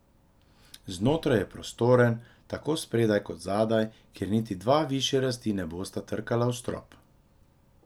Znotraj je prostoren, tako spredaj kot zadaj, kjer niti dva višje rasti ne bosta trkala v strop.